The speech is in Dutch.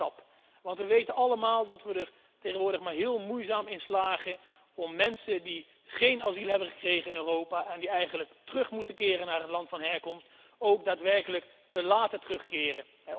Een belangrijke stap, want we weten allemaal dat we er tegenwoordig maar heel moeizaam in slagen om mensen die geen asiel hebben gekregen in Europa en die eigenlijk moeten terugkeren naar het land van herkomst, ook daadwerkelijk te laten terugkeren.